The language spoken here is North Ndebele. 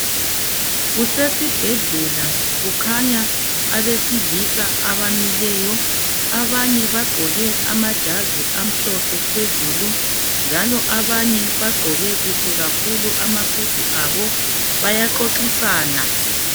Kusesi bhedlela kukhanya abesilisa abamileyo. Abanye bagqoke amajazi amhlophe phezulu, njalo abanye bagqoke kuhle kakhulu amasudu abo. Bayaxoxisana.